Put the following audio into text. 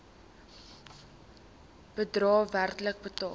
bedrae werklik betaal